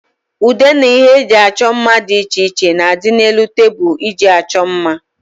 Ude na ihe eji achọ mma dị iche iche na adị n'elu tebụl eji achọ mma